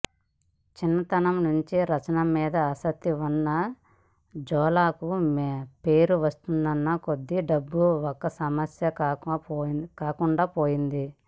చిన్నతనం నుంచే రచన మీద ఆసక్తి ఉన్న జోలాకు పేరు వస్తున్నకొద్దీ డబ్బు ఒక సమస్య కాకుండా పోయింది